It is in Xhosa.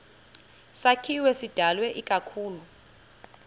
sakhiwo sidalwe ikakhulu